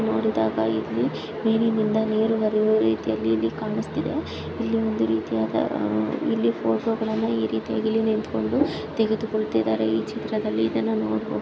ನೋಡಿದಾಗ ಇಲ್ಲಿ ಮೇಲಿನಿಂದ ನೀರು ಹರಿಯುವ ರೀತಿಯಲ್ಲಿ ಇಲ್ಲಿ ಕಾಣಸ್ತಿದೆ. ಇಲ್ಲಿ ಒಂದು ರೀತಿಯಾದ ಅಹ್ ಇಲ್ಲಿ ಫೋಟೋ ಗಳನ್ನ ಈ ರೀತಿಯಾಗಿ ಇಲ್ಲಿ ನಿಂತ್ಕೊಂಡು ತೆಗೆದುಕೊಳ್ಳುತ್ತಿದ್ದಾರೆ. ಈ ಚಿತ್ರದಲ್ಲಿ ಇದನ್ನ ನೋಡಬಹು --